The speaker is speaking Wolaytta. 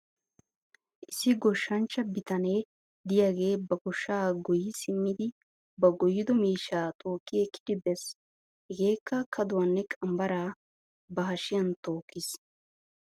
Issi goshshanchcha bitanee de'iyaagee ba goshshaa goyyi simmidi ba goyyido miishshaa tookki ekkidi bes. Hegeekka kaduwaanne qambbaraa ba hashiyan tookkis.